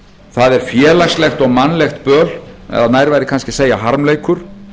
það er félagslegt og mannlegt böl eða nær væri kannski að segja harmleikur